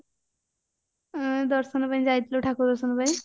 ଆଁ ଦର୍ଶନ ପାଇଁ ଯାଇଥିଲୁ ଠାକୁର ଦର୍ଶନ ପାଇଁ